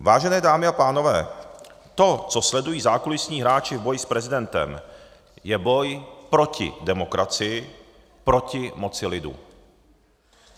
Vážené dámy a pánové, to, co sledují zákulisní hráči v boji s prezidentem, je boj proti demokracii, proti moci lidu.